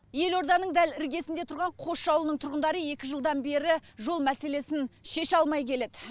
елорданың дәл іргесінде тұрған қосшы ауылының тұрғындары екі жылдан бері жол мәселесін шеше алмай келеді